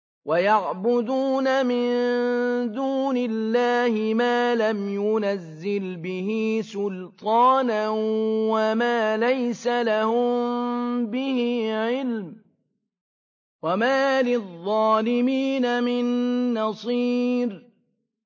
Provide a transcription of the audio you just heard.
وَيَعْبُدُونَ مِن دُونِ اللَّهِ مَا لَمْ يُنَزِّلْ بِهِ سُلْطَانًا وَمَا لَيْسَ لَهُم بِهِ عِلْمٌ ۗ وَمَا لِلظَّالِمِينَ مِن نَّصِيرٍ